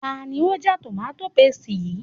Ta ni ó já tòmááti pasìtì yìí